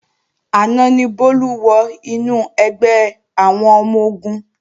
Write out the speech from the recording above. Àná ni Bólú wọ inú ẹgbẹ́ àwọn ọmọ-ogun